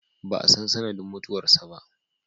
Ba a san sanadin mutuwar sa ba.